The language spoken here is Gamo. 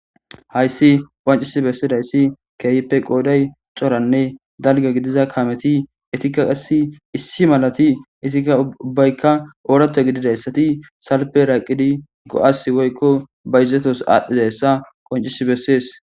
Hayssi qancisi bessidayssi keyppe qooday xoranne dalge gidiza kameti etikka qassi issi malati isikka ubbaykka oorata gididayssati salpe raqidi go'as woykko bayzetos aadhdhizayssa qoncis bessees.